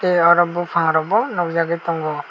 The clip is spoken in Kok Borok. tei oro bufang rog bo nogjagoi tango.